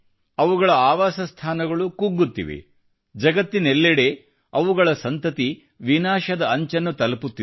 ಅವುಗಳ ಆವಾಸಸ್ಥಾನಗಳು ಕುಗ್ಗುತ್ತಿವೆ ಜಗತ್ತಿನೆಲ್ಲೆಡೆ ಅವುಗಳ ಸಂತತಿ ವಿನಾಶದ ಅಂಚನ್ನು ತಲುಪುತ್ತಿದೆ